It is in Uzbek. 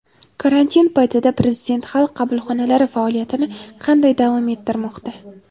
Karantin paytida Prezident Xalq qabulxonalari faoliyatini qanday davom ettirmoqda?.